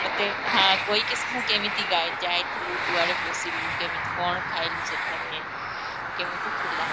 ମତେ କହିକି ସିନା ଯାଇଥିଲୁ କୁଆଡେ ବସିଲୁ କେମିତିକନ ଖାଇଲୁ ସେଠାରେ କେମିତିଥିଲେ